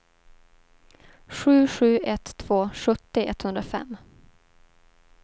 sju sju ett två sjuttio etthundrafem